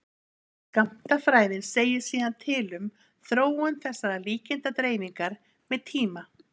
Skammtafræðin segir síðan til um þróun þessarar líkindadreifingar með tíma.